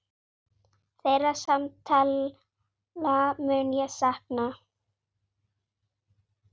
Þeirra samtala mun ég sakna.